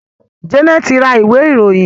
Janet ń rà Ìwé-ìròyìn.